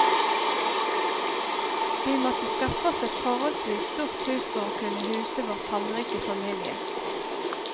Vi måtte skaffe oss et forholdsvis stort hus for å kunne huse vår tallrike familie.